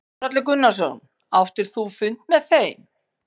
Þórhallur Gunnarsson: Áttir þú fund með þeim?